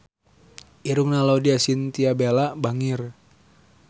Irungna Laudya Chintya Bella bangir